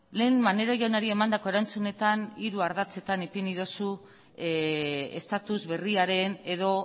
lehen maneiro jaunari emandako erantzunetan hiru ardatzetan ipini duzu estatus berriaren edo